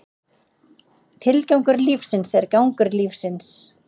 Tilgangur lífsins er gangur lífsins.